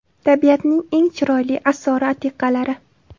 Tabiatning eng chiroyli asori-atiqalari.